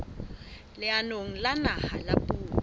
leanong la naha la puo